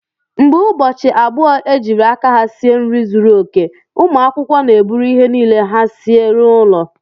Mgbe ụbọchị abụọ ejiri aka ha sie nri zuru oke, ụmụ akwụkwọ na-eburu ihe niile ha sie n'ụlọ